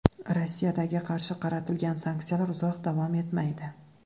Rossiyaga qarshi qaratilgan sanksiyalar uzoq davom etmaydi.